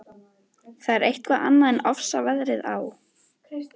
Það er eitthvað annað en ofsaveðrið á